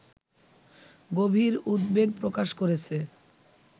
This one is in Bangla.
গভীর উদ্বেগ প্রকাশ করেছে